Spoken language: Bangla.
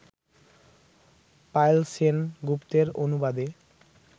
পায়েল সেন গুপ্তের অনুবাদে